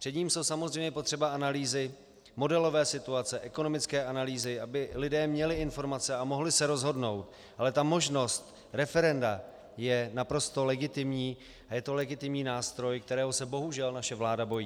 Před ním jsou samozřejmě potřeba analýzy, modelové situace, ekonomické analýzy, aby lidé měli informace a mohli se rozhodnout, ale ta možnost referenda je naprosto legitimní a je to legitimní nástroj, kterého se bohužel naše vláda bojí.